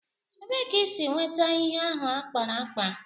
Ebéé ka ị si nwétá ihe ahụ a kpara ákpá?